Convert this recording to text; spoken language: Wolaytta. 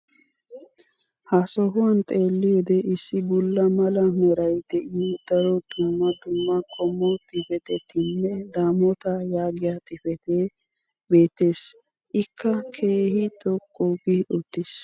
ha sohuwan xeelliyoode issi bulla mala meray de'iyo daro dumma dumma qommo xifatettinne damota yaagiya xifatee beetees. ikka keehi xoqqu gi uttiis.